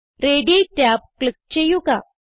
റേഡി tab click ചെയ്യുക